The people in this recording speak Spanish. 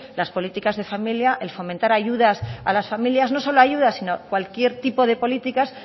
las políticas de familia el fomentar ayudas a las familias no solo ayudas sino cualquier tipo de políticas